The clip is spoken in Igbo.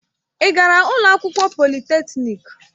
Ị gara ụlọ akwụkwọ polịtekniki?